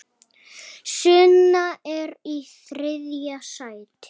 Sunna er í þriðja sæti.